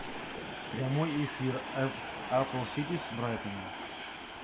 прямой эфир апл сити с брайтоном